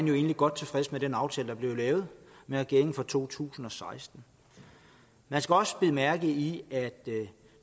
jo egentlig godt tilfreds med den aftale der blev lavet med regeringen for to tusind og seksten man skal også bide mærke i at